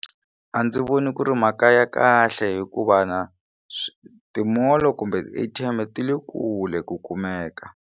A ndzi voni ku ri mhaka ya kahle hikuva na ti mall kumbe A_T_M ti le kule ku kumeka.